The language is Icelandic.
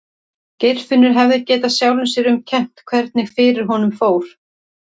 Geirfinnur hefði getað sjálfum sér um kennt hvernig fyrir honum fór.